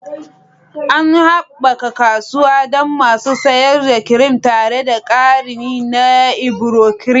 An haɓaka kasuwa don masu sayar da kirim tare da ƙari na Ivory Cream.